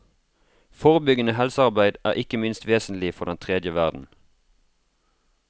Forebyggende helsearbeid er ikke minst vesentlig for den tredje verden.